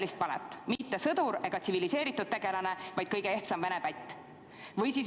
Mitte sõdur ega muu tsiviliseeritud tegelane, vaid kõige ehtsam vene pätt.